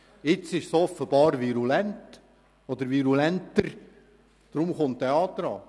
Nun ist es offenbar virulenter geworden, deshalb kommt dieser Antrag.